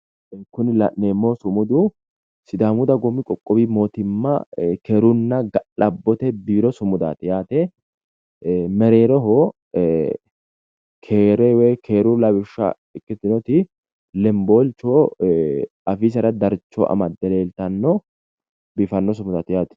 Kuni la'nemmohu sumudu sidaamu dagoomu qoqqowu mootimma keerunna ga'labbote biiro sumudaati yaate mereeroho keere woy keeru lawishsha ikkiteyooti lemboolcho afiisera darcho amadde leeltanno biifanno sumudaati yaate.